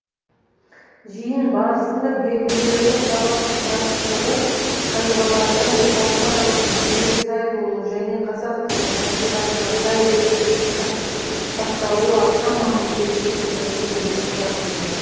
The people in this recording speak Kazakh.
жиын барысында белгілердің сабақтастығы таңбалардың халықаралық жүйеге сай болуы және қазақ тілінің табиғатына сай реттіліктің сақталуы аса маңызды екендігіне де тоқталды